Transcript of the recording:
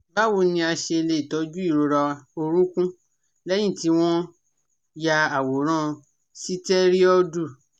Báwo ni a ṣe lè tọ́jú ìrora orúnkún lẹ́yìn tí wọ́n ya àwòrán sitẹriọdu?